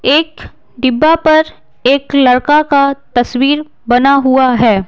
एक डिब्बा पर एक लड़का का तस्वीर बना हुआ है।